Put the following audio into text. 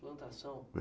Plantação?